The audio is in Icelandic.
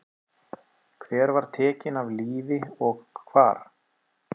Hver var tekin af lífi og hvar?